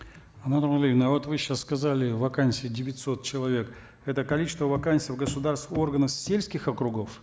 анар нуралиевна вот вы сейчас сказали вакансий девятьсот человек это количество вакансий в государственных органах сельских округов